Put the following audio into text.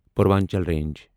Purvanchal range